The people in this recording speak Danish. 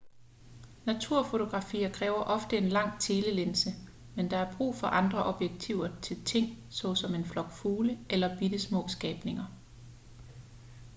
naturfotografier kræver ofte en lang telelinse men der er brug for andre objektiver til ting såsom en flok fugle eller bittesmå skabninger